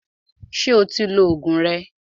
Ṣé o ti lo Ògùn rẹ?